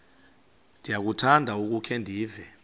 ndiyakuthanda ukukhe ndive